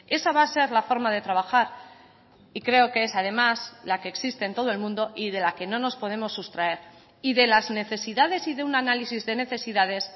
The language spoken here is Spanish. esa va a ser la forma de trabajar y creo que es además la que existe en todo el mundo y de la que no nos podemos sustraer y de las necesidades y de un análisis de necesidades